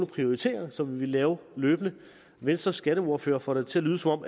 prioriteringer som vi vil lave løbende venstres skatteordfører får det til at lyde som om